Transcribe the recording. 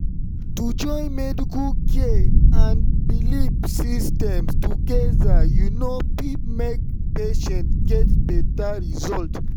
to join medical care and belief systems together you know fit make patients get better result.